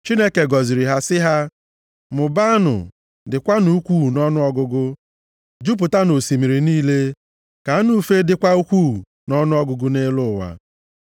Chineke gọziri ha, sị ha, “Mụbaanụ, dịkwanụ ukwuu nʼọnụọgụgụ, jupụtanụ osimiri niile. Ka anụ ufe dịkwa ukwuu nʼọnụọgụgụ nʼelu ụwa.”